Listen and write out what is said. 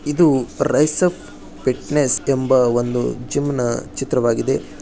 ಇದು ರಿಸೆಪ್ ಫಿಟ್ನೆಸ್ ಎಂಬ ಒಂದು ಜಿಮ್ ನ ಚಿತ್ರವಾಗಿದೆ.